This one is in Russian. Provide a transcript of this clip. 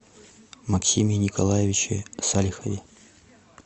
максиме николаевиче салихове